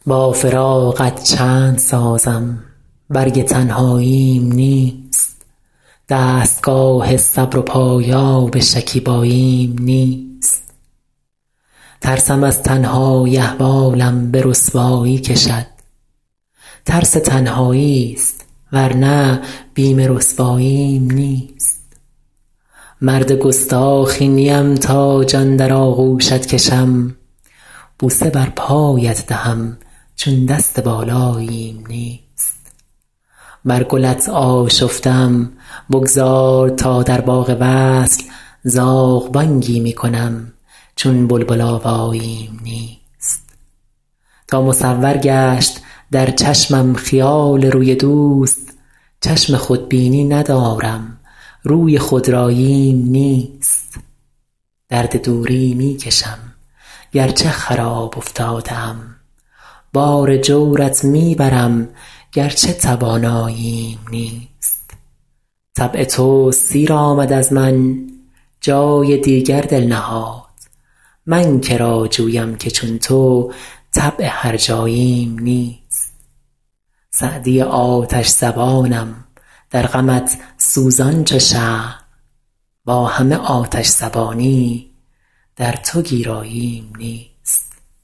با فراقت چند سازم برگ تنهاییم نیست دستگاه صبر و پایاب شکیباییم نیست ترسم از تنهایی احوالم به رسوایی کشد ترس تنهایی ست ور نه بیم رسواییم نیست مرد گستاخی نیم تا جان در آغوشت کشم بوسه بر پایت دهم چون دست بالاییم نیست بر گلت آشفته ام بگذار تا در باغ وصل زاغ بانگی می کنم چون بلبل آواییم نیست تا مصور گشت در چشمم خیال روی دوست چشم خودبینی ندارم روی خودراییم نیست درد دوری می کشم گر چه خراب افتاده ام بار جورت می برم گر چه تواناییم نیست طبع تو سیر آمد از من جای دیگر دل نهاد من که را جویم که چون تو طبع هرجاییم نیست سعدی آتش زبانم در غمت سوزان چو شمع با همه آتش زبانی در تو گیراییم نیست